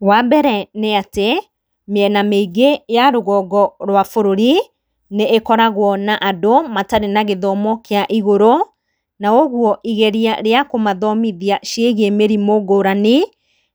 Wa mbere nĩ atĩ, mĩena mĩingĩ ya rũgongo rwa bũrũri nĩĩkoragwo na andũ matarĩ na gĩthomo kĩa igũrũ, na ũguo igeria rĩa kũmathomithia ciĩgie mĩrimũ ngũrani